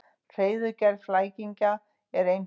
Hreiðurgerð flæmingja er einföld.